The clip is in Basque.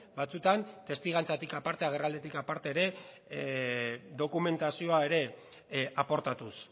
batzutan testigantzatik aparte agerralditik aparte ere dokumentazioa ere aportatuz